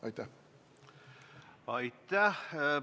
Aitäh!